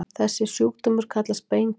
Þessi sjúkdómur kallast beinkröm.